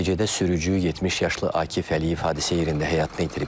Nəticədə sürücü 70 yaşlı Akif Əliyev hadisə yerində həyatını itirib.